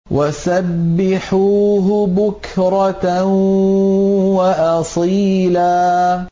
وَسَبِّحُوهُ بُكْرَةً وَأَصِيلًا